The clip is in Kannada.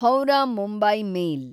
ಹೌರಾ ಮುಂಬೈ ಮೇಲ್